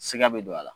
Sika be don a la